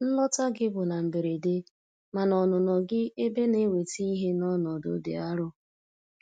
Nlọta gị bụ na mberede, mana ọnụnọ gị ebe na-eweta ihe n'ọnọdụ dị arụ.